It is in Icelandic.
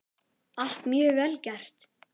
Allt mjög vel gert.